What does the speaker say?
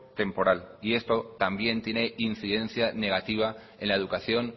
temporal y esto también tiene incidencia negativa en la educación